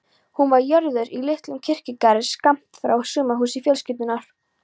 Hún var jörðuð í litlum kirkjugarði skammt frá sumarhúsi fjölskyldunnar.